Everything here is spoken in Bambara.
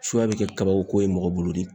Suya be kɛ kabako ye mɔgɔ bolo de